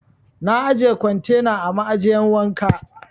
Na ajiye kwantena a ma'ajiyan wanka.